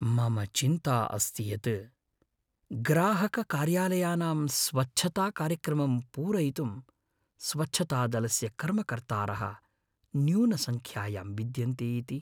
मम चिन्ता अस्ति यत् ग्राहककार्यालयानाम् स्वच्छताकार्यक्रमं पूरयितुं स्वच्छतादलस्य कर्मकर्तारः न्यूनसंख्यायां विद्यन्ते इति।